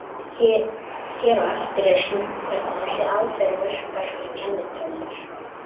Hér á eftir er sýnt hvernig þessi aðferð verkar fyrir kennitölur.